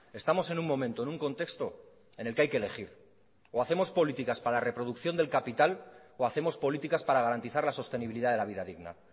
estamos en un momento en un contexto en el que hay que elegir o hacemos políticas para la reproducción del capital o hacemos políticas para garantizar la sostenibilidad de la vida digna